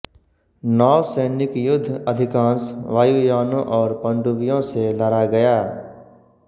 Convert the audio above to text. नौसैनिक युद्ध अधिकांश वायुयानों और पनडुब्बियों से लड़ा गया